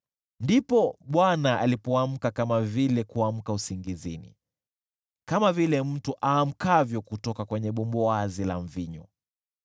Ndipo Bwana alipoamka kama vile kuamka usingizini, kama vile mtu aamkavyo kutoka kwenye bumbuazi la mvinyo.